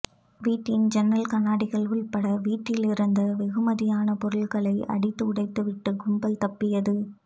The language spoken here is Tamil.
வீட்டின் யன்னல் கண்ணாடிகள் உள்பட்ட வீட்டிலிருந்த பெறுமதியான பொருள்களை அடித்து உடைத்துவிட்டு கும்பல் தப்பித்தது